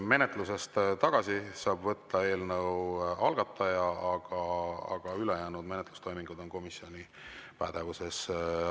Menetlusest tagasi saab võtta eelnõu algataja, aga ülejäänud menetlustoimingud on komisjoni pädevuses.